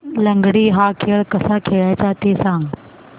लंगडी हा खेळ कसा खेळाचा ते सांग